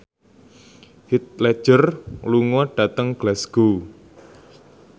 Heath Ledger lunga dhateng Glasgow